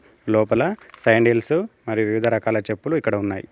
లోపల శాండిల్స్ మరియు వివిధ రకాల చెప్పులు ఇక్కడ ఉన్నాయ్.